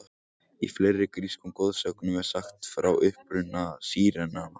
Í fleiri grískum goðsögnum er sagt frá uppruna sírenanna.